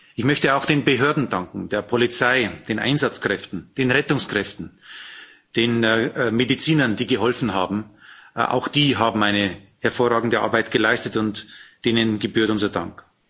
Ich möchte auch den Behörden danken, der Polizei, den Einsatzkräften, den Rettungskräften, den Medizinern, die geholfen haben. Auch sie haben eine hervorragende Arbeit geleistet, und ihnen gebührt unser Dank.